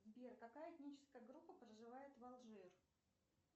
сбер какая этническая группа проживает в алжир